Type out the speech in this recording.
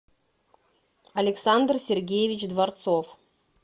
александр сергеевич дворцов